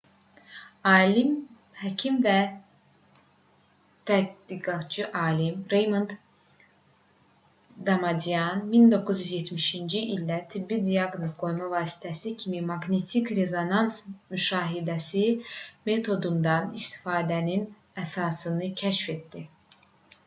həkim və tədqiqatçı alim reymond damadyan 1970-ci ildə tibbi diaqnoz qoyma vasitəsi kimi maqnetik rezonans müşahidəsi metodundan istifadənin əsasını kəşf etdi